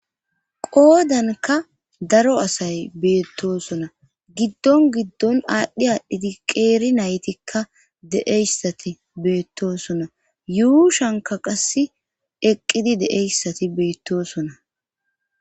qoodanka daro asay beettosona giddon giddon aadhdhi aadhdhiti qeeri naytikka de7eyssati beettosona yuushanka qass eqqidi de7eyssati beettosona